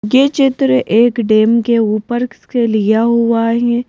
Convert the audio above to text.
गे चित्र एक डैम के ऊपर से लिया हुआ है।